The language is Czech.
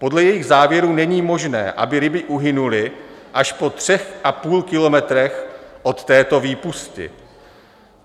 Podle jejich závěrů není možné, aby ryby uhynuly až po třech a půl kilometrech od této výpusti.